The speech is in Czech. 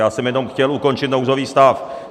Já jsem jenom chtěl ukončit nouzový stav.